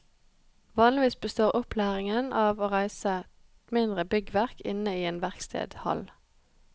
Vanligvis består opplæringen av å reise mindre byggverk inne i en verkstedhall.